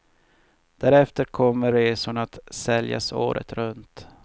Därefter kommer resorna att säljas året runt.